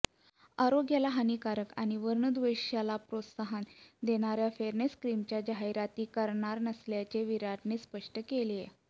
आरोग्याला हानीकारक आणि वर्णद्वेषाला प्रोत्साहन देणाऱ्या फेअरनेस क्रीमच्या जाहिराती करणार नसल्याचे विराटने स्पष्ट केलेय